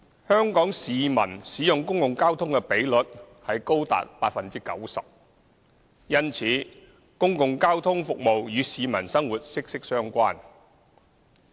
香港市民使用公共交通的比率高達 90%， 因此公共交通服務與市民生活息息相關。